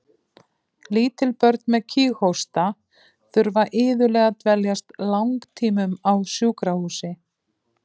Lítil börn með kíghósta þurfa iðulega að dveljast langtímum á sjúkrahúsi.